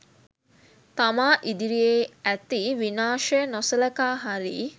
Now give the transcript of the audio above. තමා ඉදිරියේ ඇති විනාශය නොසළකා හරියි